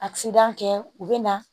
kɛ u bɛ na